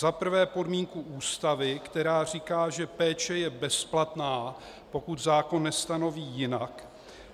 Za prvé podmínku Ústavy, která říká, že péče je bezplatná, pokud zákon nestanoví jinak,